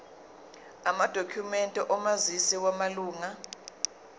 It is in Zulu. amadokhumende omazisi wamalunga